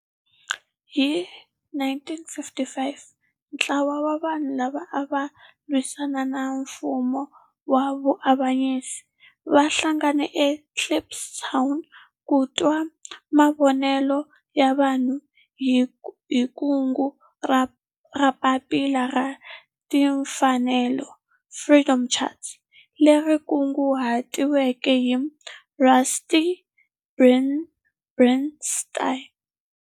Hi 1955 ntlawa wa vanhu lava ava lwisana na nfumo wa avanyiso va hlanganile eKliptown ku twa mavonelo ya vanhu hi kungu ra Papila ra Timfanelo, Freedom Charter, leri kunguhatiweke hi Rusty Bernstein.